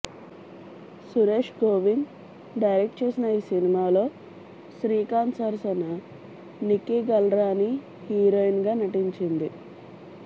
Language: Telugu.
సురేష్ గోవింద్ డైరెక్ట్ చేసిన ఈ సినిమాలో శ్రీశాంత్ సరసన నిక్కీ గల్రానీ హీరోయిన్గా నటించింది